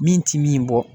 Min ti min bɔ